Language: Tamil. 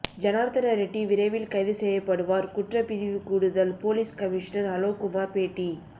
ஜனார்த்தனரெட்டி விரைவில் கைது செய்யப்படுவார் குற்றப்பிரிவு கூடுதல் போலீஸ் கமிஷனர் அலோக்குமார் பேட்டி